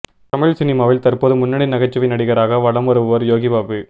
தமிழ் சினிமாவின் தற்போது முன்னணி நகைச்சுவை நடிகராக வளம் வருபவர் யோகி பாபு